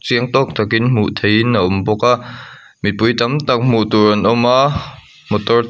chiang tawk takin hmuh theihin a awm bawka mipui tam tak hmuh tur an awma motor tam--